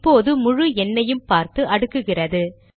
இப்போது முழு எண்னையும் பார்த்து அடுக்குகிறது